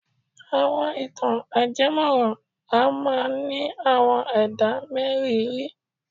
Àwọn ìtàn ajemọ́ran a máa ní àwọn ẹ̀dá mériìírí.